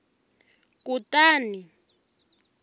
kutani